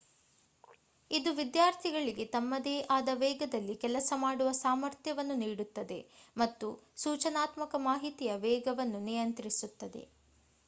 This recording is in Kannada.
ಇದು ವಿದ್ಯಾರ್ಥಿಗಳಿಗೆ ತಮ್ಮದೇ ಆದ ವೇಗದಲ್ಲಿ ಕೆಲಸ ಮಾಡುವ ಸಾಮರ್ಥ್ಯವನ್ನು ನೀಡುತ್ತದೆ ಮತ್ತು ಸೂಚನಾತ್ಮಕ ಮಾಹಿತಿಯ ವೇಗವನ್ನು ನಿಯಂತ್ರಿಸುತ್ತದೆ